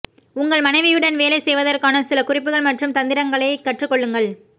உங்கள் மனைவியுடன் வேலை செய்வதற்கான சில குறிப்புகள் மற்றும் தந்திரங்களை கற்றுக்கொள்ளுங்கள்